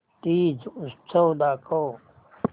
तीज उत्सव दाखव